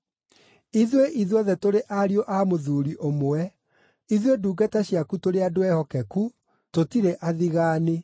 Ithuĩ ithuothe tũrĩ ariũ a mũthuuri ũmwe. Ithuĩ ndungata ciaku tũrĩ andũ ehokeku, tũtirĩ athigaani.”